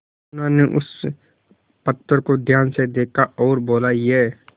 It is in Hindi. सुनार ने उस पत्थर को ध्यान से देखा और बोला ये